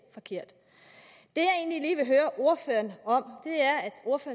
forkert ordføreren